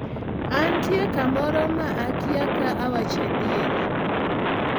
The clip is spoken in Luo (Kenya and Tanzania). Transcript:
Antie kamoro ma akiya ka awacho adier